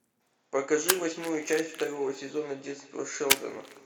покажи восьмую часть второго сезона детство шелдона